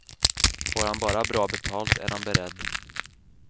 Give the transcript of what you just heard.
Får han bara bra betalt är han beredd.